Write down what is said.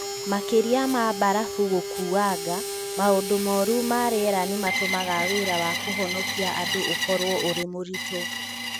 Makĩĩria ma barafu gũkuanga, maũndũ moru ma rĩera nĩ matũmaga wĩra wa kũhonokia andũ ũkorũo ũrĩ mũritũ.